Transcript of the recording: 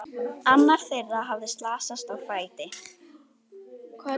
Annar þeirra hafði slasast á fæti.